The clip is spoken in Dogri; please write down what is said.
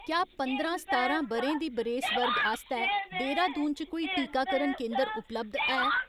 क्या पंदरां सतारां ब'रें दे बरेस वर्ग आस्तै देहरादून च कोई टीकाकरण केंदर उपलब्ध है ?